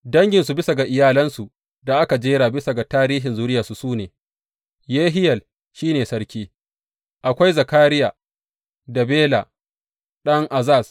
Danginsu bisa ga iyalansu da aka jera bisa ga tarihin zuriyarsu su ne, Yehiyel shi ne sarki, akwai Zakariya, da Bela ɗan Azaz.